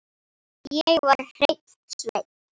Ég var hreinn sveinn.